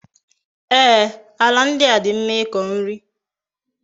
Ee, ala ndi a di mma iko nri